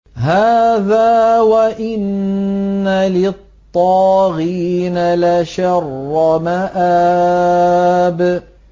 هَٰذَا ۚ وَإِنَّ لِلطَّاغِينَ لَشَرَّ مَآبٍ